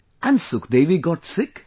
And Sukhdevi got sick